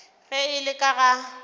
ge e le ka ga